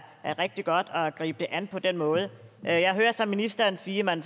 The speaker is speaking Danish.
er rigtig godt at gribe det an på den måde jeg hører så ministeren sige at man